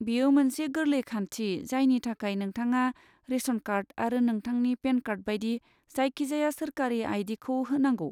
बेयो मोनसे गोरलै खान्थि जायनि थाखाय नोंथाङा रेशन कार्ड आरो नोंथांनि पेन कार्ड बायदि जायखिजाया सोरखारि आई. डी. खौ होनांगौ।